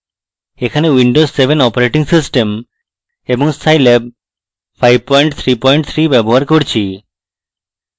এখানে windows 7 operating system এবং scilab 533 ব্যবহার করছি